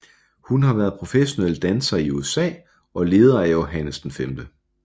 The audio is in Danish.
Hun har været professionel danser i USA og leder af Johannes V